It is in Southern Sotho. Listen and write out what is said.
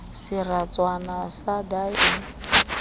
seratswana sa d ha e